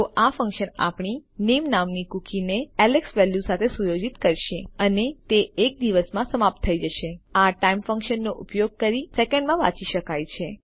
તો આ ફન્કશન આપણી નામે નામની કુકીને એલેક્સ વેલ્યુ સાથે સુયોજિત કરશે અને તે એક દિવસમાં સમાપ્ત થઈ જશે - આ ટાઇમ ફન્કશન નો ઉપયોગ કરી સેકન્ડમાં વાંચી શકાય છે